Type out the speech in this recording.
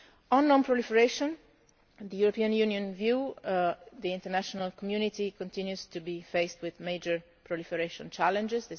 force. On non proliferation, the European Union view the international community continues to be faced with major proliferation challenges.